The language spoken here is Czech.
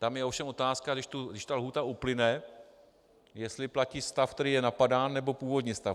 Tam je ovšem otázka, když ta lhůta uplyne, jestli platí stav, který je napadán, nebo původní stav.